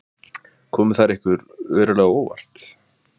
Komu þær ykkur verulega á óvart?